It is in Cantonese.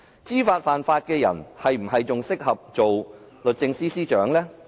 知法犯法的人，是否仍然適合當律政司司長？